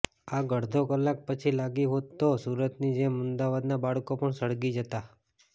આગ અડધો કલાક પછી લાગી હોત તો સુરતની જેમ અમદાવાદના બાળકો પણ સળગી જતા